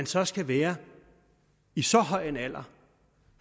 så skal være i så høj en alder